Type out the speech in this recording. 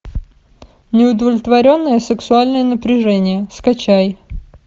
неудовлетворенное сексуальное напряжение скачай